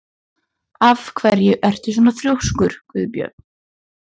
Af hverju ertu svona þrjóskur, Gunnbjörn?